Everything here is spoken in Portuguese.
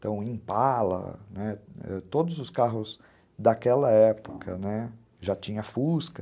Então, Impala, né, todos os carros daquela época, já tinha Fusca.